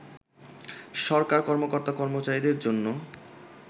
সরকার কর্মকর্তা-কর্মচারীদের জন্য